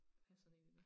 Have sådan en endnu